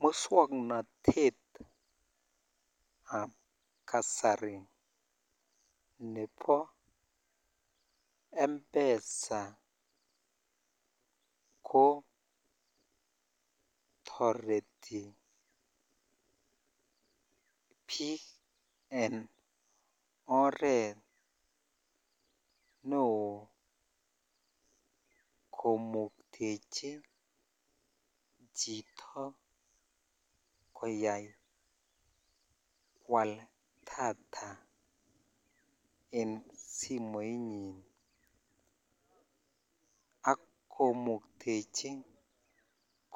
Muswoknotet ab kasari chebo mpesa ko toretibiik en oret neookomuktechi chito koyai kali data en simoinyin ak komuktechi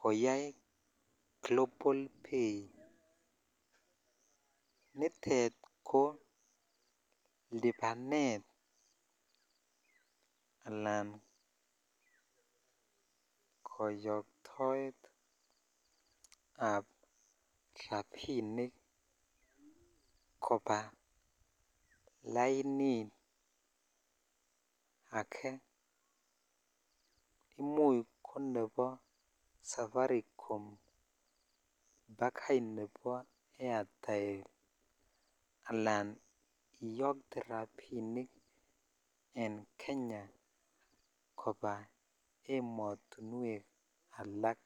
koyai global pay nitet ko libanet alan koyoitoet ab rabinik kobaa lainit ake imuch ko nebo safaricom bakai nebo airtel akan iyotee rabinik en Kenya koba emotuwek alak.